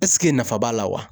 Ɛseke nafa b'a la wa?